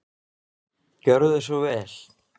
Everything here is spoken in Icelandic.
Gjörðu svo vel.